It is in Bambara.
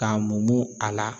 K'a mumu kala